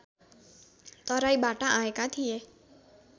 तराईबाट आएका थिए